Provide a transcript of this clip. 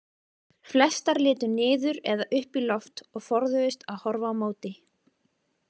Flestar litu niður eða upp í loft og forðuðust að horfa á móti.